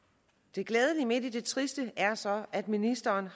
det glædelige midt i det triste er så at ministeren